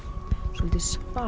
soldið